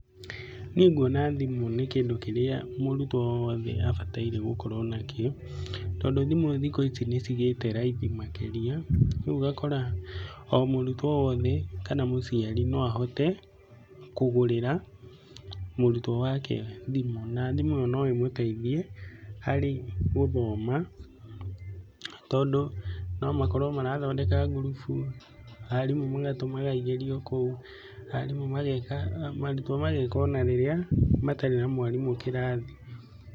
Niĩ nguona thimũ nĩ kĩndũ kĩrĩa mũrutwo wothe abataire gũkorwo na kĩo, tondũ thimũ thikũ ici nĩ cigĩte raithi makĩria. Ũguo ũgakora o mũrutwo o wothe kana mũciari no ahote kũgũrĩra mũrutwo wake thimũ. Na thimũ ĩyo no ĩmũteithie harĩ gũthoma tondũ no makorwo marathondeka ngurubu, arimũ magatũmaga igerio kũu, arimũ mageka, arutwo mageka ona rĩrĩa matarĩ na mwarimũ kĩrathi.